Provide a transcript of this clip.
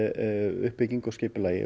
uppbyggingu og skipulagi